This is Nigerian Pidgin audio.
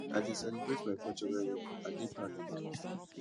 i dey celebrate my culture well well i dey proud of am